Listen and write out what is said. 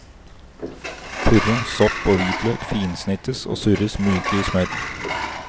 Purre, sopp og hvitløk finsnittes og surres myke i smør.